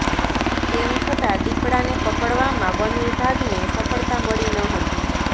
તેમ છતાં દીપડાને પકડવામાં વન વિભાગને સફળતા મળી ન હતી